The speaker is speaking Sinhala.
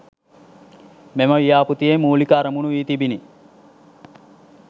මෙම ව්‍යාපෘතියේ මූලික අරමණු වී තිබිණි